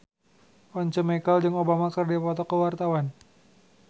Once Mekel jeung Obama keur dipoto ku wartawan